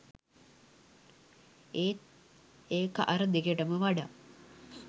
ඒත් ඒක අර දෙකටම වඩා